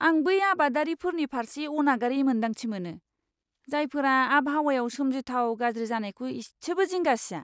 आं बै आबादारिफोरनि फारसे अनागारि मोन्दांथि मोनो, जायफोरा आबहावायाव सोमजिथाव गाज्रि जानायखौ इसेबो जिंगा सिआ!